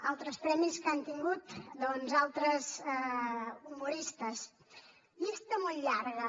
altres premis que han tingut doncs altres humoristes llista molt llarga